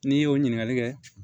N'i y'o ɲininkali kɛ